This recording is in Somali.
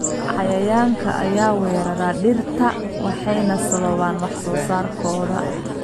Cayayaanka ayaa weerara dhirta waxayna sababaan wax soo saarkooda.